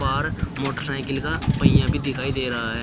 और मोटरसाइकिल का पहिया भी दिखाई दे रहा है।